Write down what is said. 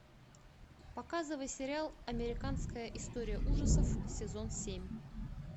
показывай сериал американская история ужасов сезон семь